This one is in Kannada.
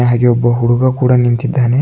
ಹಾಗೆ ಒಬ್ಬ ಹುಡುಗ ಕೂಡ ನಿಂತಿದ್ದಾನೆ.